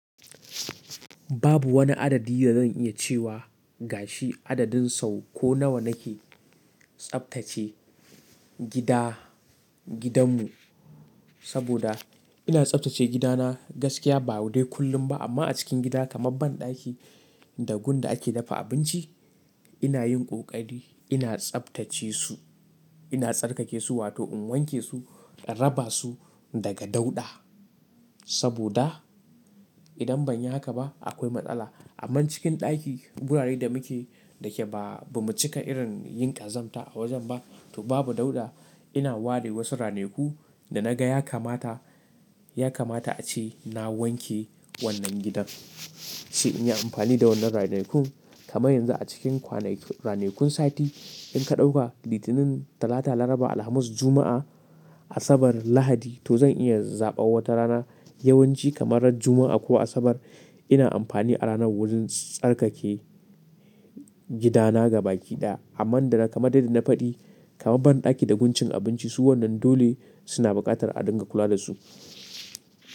Babu wani adadi da zan iya cewa gashi adadin sau ko nawa nake tsaftace gida, gidanmu saboda ina tsaftace gidana gaskiya ba wa dai kullum ba amma a cikin gida kamar banɗaki da gun da ake dafa abinci ina yin ƙoƙari ina tsaftace su ina tsarkake su wato in wanke su, raba su daga dauɗa saboda idan ban yi haka ba akwai matsala. Amma cikin ɗaki wuraren da muke da ke ba mu cika irin yin ƙazanta a wajen ba to babu dauɗa ina ware wasu ranaku da naga ya kamata, ya kamata a ci na wanke wannan gidan, shi in yi amfani da wannan ranakun kamar yanzu a cikin kwanakin ranakun sati in ka ɗauka Litinin, Talata, Laraba, Alhamis, Juma'a, Asabar, Lahadi to zan iya zaɓa wata rana yawanci kamarar Juma'a ko Asabar ina amfani a rana wurin tsarkake gidana gabaki ɗaya amma danna kamar dai da na faɗi kamar banɗaki da guncin abinci su wannan dole suna buƙatar a dinga kula da su.